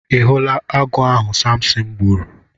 Ị hụla agụ ahụ Samsịn gburu?